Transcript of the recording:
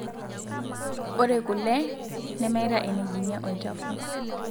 Ore kule nemeta enejing'ie olchafu.